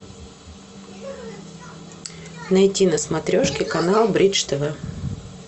найти на смотрешке канал бридж тв